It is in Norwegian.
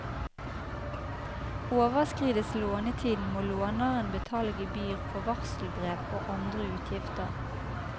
Overskrides lånetiden må låneren betale gebyr for varselbrev og andre utgifter.